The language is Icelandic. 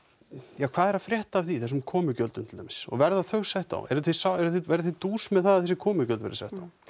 ja hvað er að frétta af því þessum komugjöldum til dæmis og verða þau sett á eruð þið eruð þið verðið þið dús með það að þessi komugjöld verði sett á